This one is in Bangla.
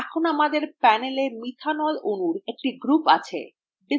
এখন আমাদের panela methanol অণুর একটি group আছে